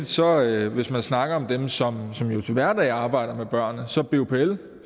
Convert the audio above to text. sådan at hvis man snakker om dem som som jo til hverdag arbejder med børnene så